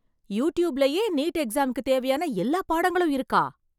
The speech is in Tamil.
யுடூப்லயே , நீட் எக்ஸாமுக்குத் தேவையான எல்லா பாடங்களும் இருக்கா ?